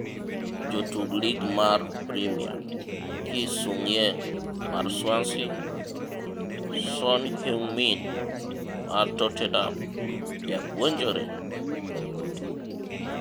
Jotug Lig mar Premia: Ki Sung-yueng (Swansea), Son Heung-min (Tottenham) Japuonjere?